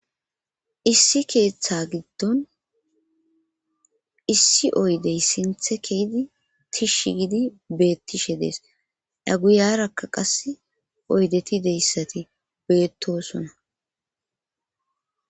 issi keeththa giddon issi oydey sinthe keydi tishshi gidi beettishe dees da guyarakka qas oydeti deyssati beettosona